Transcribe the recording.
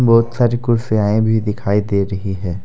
बहुत सारी कुर्सियांए भी दिखाई दे रही है।